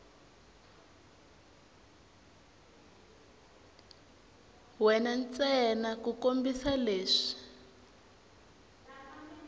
we ntsena ku kombisa leswi